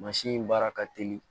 Mansin in baara ka teli